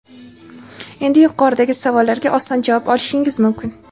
Endi yuqoridagi savollarga oson javob olishingiz mumkin!.